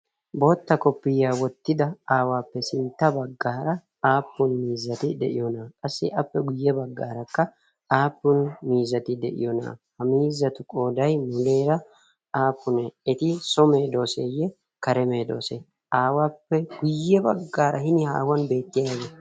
Bootta kopiya wottida aawappe sintta baggaara aappun miizzati de'iyoona? Qassi appe guyye baggaarakka aappun miizzati de'iyoonaa? Ha miizzatu qooday muleera aappunee? Eti so medooseye kare medoosee? Aawappe guyye baggaara hini haahuwan beettiyayi...